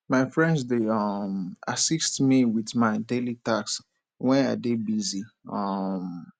my friend dey um assist me with my daily tasks when i dey busy um